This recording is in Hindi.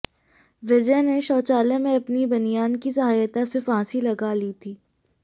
विजय ने शौचालय में अपनी बनियान की सहायता से फांसी लगा ली थी